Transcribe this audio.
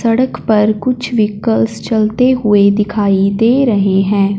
सड़क पर कुछ व्हीकल्स चलते हुए दिखाई दे रहे हैं।